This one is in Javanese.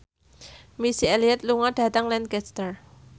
Missy Elliott lunga dhateng Lancaster